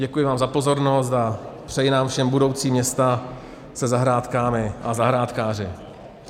Děkuji vám za pozornost a přeji nám všem budoucí města se zahrádkami a zahrádkáři.